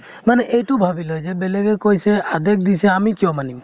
মানে এইটো ভাবি লয় যে বেলেগে কৈছে, আদেশ দিছে আমি কিয় মানিম?